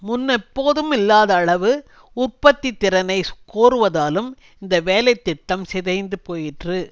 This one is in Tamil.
முன்னெப்போதுமில்லாத அளவு உற்பத்தி திறனை கோருவதாலும் இந்த வேலை திட்டம் சிதைந்து போயிற்று